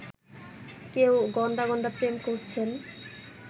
কেউ গণ্ডা গণ্ডা প্রেম করছেন